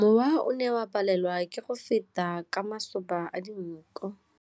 Mowa o ne o palelwa ke go feta ka masoba a dinko.